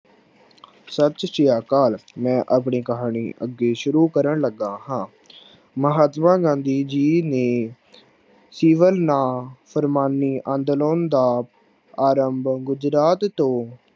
ਸਤਿ ਸ਼੍ਰੀ ਅਕਾਲ ਮੈ ਆਪਣੀ ਕਹਾਣੀ ਅਗੇ ਸ਼ੁਰੂ ਕਰਨ ਲਗਾ ਹਾਂ। ਮਹਾਤਮਾ ਗਾਂਧੀ ਜੀ ਨੇ ਸਹਿਵਨ ਨਾ ਪ੍ਰਮਾਨੀ ਅੰਦਲੋਨ ਦਾ ਆਰੰਭ ਗੁਜ਼ਰਾਤ ਤੋਂ